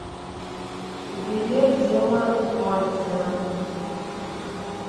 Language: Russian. билет дело мастера